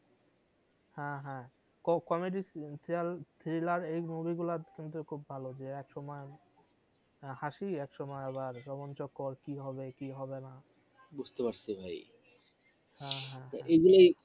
হ্যাঁ হ্যাঁ comedy thriller এই movie গুলা কিন্তু খুব ভালো যে এক সময় হাসি এক সময় আবার জগন চক্কর কি হবে কি হবেনা বুঝতে পারসী ভাই হ্যাঁ হ্যাঁ এগুলাই